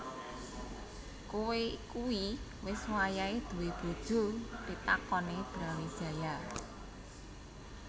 Koe kui wis wayahe duwé bojo pitakone Brawijaya